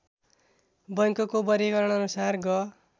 बैङ्कको वर्गीकरणअनुसार ग